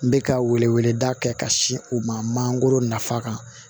N bɛ ka weleweleda kɛ ka sin u ma mangoro nafa kan